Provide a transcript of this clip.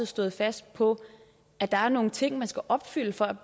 stået fast på at der er nogle ting man skal opfylde for at